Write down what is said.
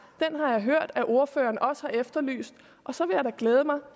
den har jeg hørt at ordføreren også har efterlyst og så vil jeg da glæde mig